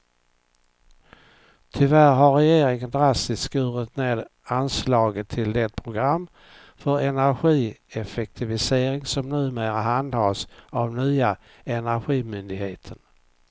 Tyvärr har regeringen drastiskt skurit ned anslaget till det program för energieffektivisering som numera handhas av nya energimyndigheten.